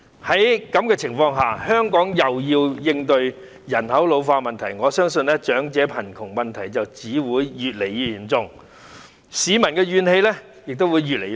在這種情況下，香港尚要應對人口老化問題，我因而相信長者貧窮問題只會越來越嚴重，市民的怨氣亦會越來越大。